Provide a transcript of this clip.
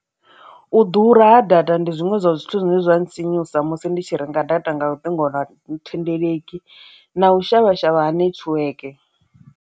U ḓura ha data ndi zwiṅwe zwa zwithu zwine zwa nga sinyusa musi ndi tshi renga data nga luṱingothendeleki na u shavha shavha ha nethiweke.